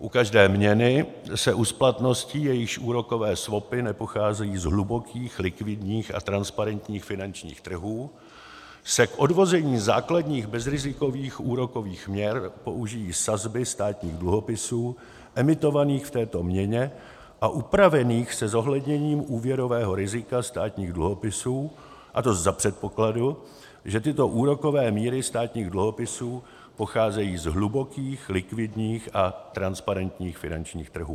U každé měny se u splatnosti, jejíž úrokové swapy nepocházejí z hlubokých likvidních a transparentních finančních trhů, se k odvození základních bezrizikových úrokových měr použijí sazby státních dluhopisů emitovaných v této měně a upravených se zohledněním úvěrového rizika státních dluhopisů, a to za předpokladu, že tyto úrokové míry státních dluhopisů pocházejí z hlubokých likvidních a transparentních finančních trhů.